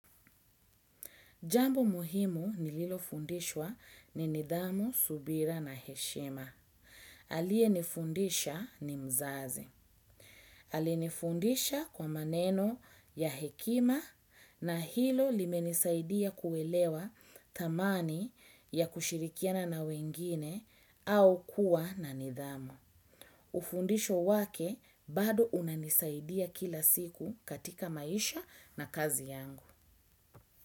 Jambo muhimu nililofundishwa ni nidhamu, subira na heshima. Aliye nifundisha ni mzazi. Alinifundisha kwa maneno ya hekima na hilo limenisaidia kuelewa thamani ya kushirikiana na wengine au kuwa na nidhamu. Ufundisho wake bado unanisaidia kila siku katika maisha na kazi yangu.